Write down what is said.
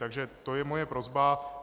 Takže to je moje prosba.